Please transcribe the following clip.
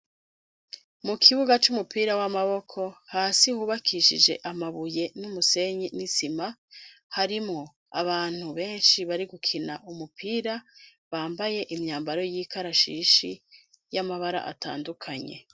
Mu kibuga c'umupira w'amaboko hasi hubakishije amabuye n'umusenyi n'isima, harimwo abantu benshi bari gukina umupira bambaye imyambaro y'ikarashishi y'amabara atandukanye.